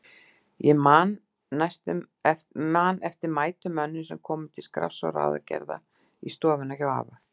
Ég man eftir mætum mönnum sem komu til skrafs og ráðagerða í stofuna hjá afa.